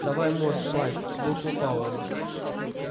давай мозг майк буркнул пауэлл